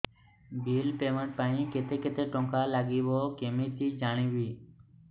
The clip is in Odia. ବିଲ୍ ପେମେଣ୍ଟ ପାଇଁ କେତେ କେତେ ଟଙ୍କା ଲାଗିବ କେମିତି ଜାଣିବି